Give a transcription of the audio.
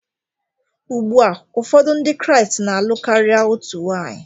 Ugbua ụfọdụ Ndị Kraịst na-alụ karịa otu nwanyị